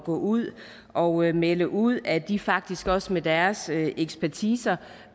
gå ud og melde ud at de faktisk også med deres ekspertise